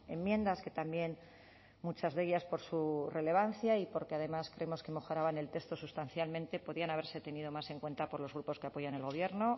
enmiendas que también muchas de ellas por su relevancia y porque además creemos que mejoraban el texto sustancialmente podían haberse tenido más en cuenta por los grupos que apoyan el gobierno